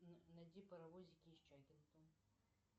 найди паровозики из чаггинктона